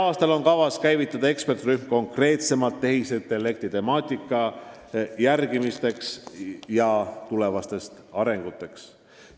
Tänavu on kavas tööle rakendada eksperdirühm, kes tegeleb konkreetselt tehisintellekti temaatika tulevaste arendustega.